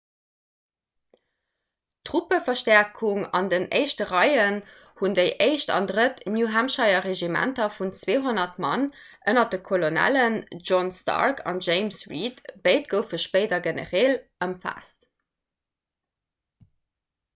truppeverstäerkung an den éischte reien hunn déi 1. an 3. new-hampshire-regimenter vun 200 mann ënner de kolonellen john stark an james reed béid goufe spéider genereel ëmfaasst